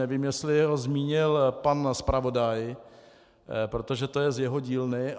Nevím, jestli ho zmínil pan zpravodaj, protože to je z jeho dílny.